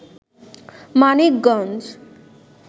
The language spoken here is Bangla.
মানিকগঞ্জ